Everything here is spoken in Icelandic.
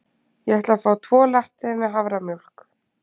Ég ætla að fá tvo latte með haframjólk.